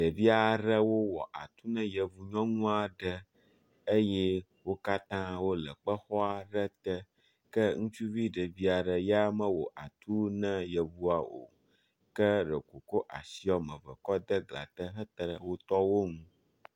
Ɖevia ɖewo wɔ atu na yevu nyɔŋua ɖe eye wo katã wole kpexɔa ɖe te, ke ŋutsuvi ɖevia ɖe ya mewɔ atu na yevua o, ke ɖeko wòkɔ asia me ve kɔ de glã te hete ɖe wotɔwo ŋu.